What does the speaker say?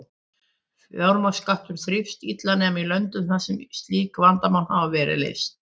Fjármagnsmarkaður þrífst illa nema í löndum þar sem slík vandamál hafa verið leyst.